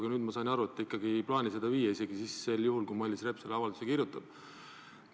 Aga nüüd ma sain aru, et te ei plaani seda viia isegi juhul, kui Mailis Reps selle avalduse kirjutab.